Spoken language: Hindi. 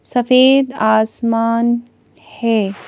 सफेद आसमान है।